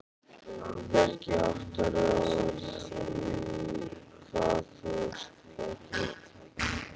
Bjarki, áttarðu á því hvað þú ert að gera?